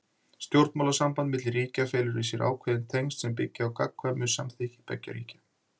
Stjórnmálasamband milli ríkja felur í sér ákveðin tengsl sem byggja á gagnkvæmu samþykki beggja ríkja.